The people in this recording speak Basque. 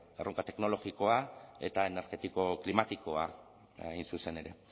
erronka teknologikoa eta energetiko klimatikoa hain zuzen ere